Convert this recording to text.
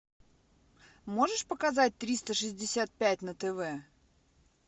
можешь показать триста шестьдесят пять на тв